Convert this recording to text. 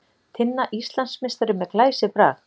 Tinna Íslandsmeistari með glæsibrag